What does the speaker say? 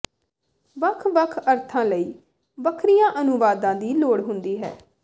ਵੱਖ ਵੱਖ ਅਰਥਾਂ ਲਈ ਵੱਖਰੀਆਂ ਅਨੁਵਾਦਾਂ ਦੀ ਲੋੜ ਹੁੰਦੀ ਹੈ